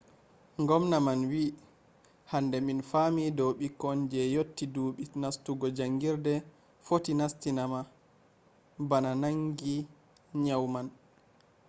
ngomna man wi'i hande min faami dow ɓikkon je yotti ɗuɓɓi nastugo jaangirde footi matinama bana nangi nyau man.